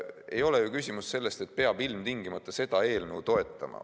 Ei ole ju küsimus selles, et peab ilmtingimata seda eelnõu toetama.